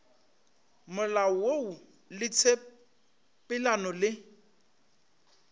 molao woo le tshepelelano le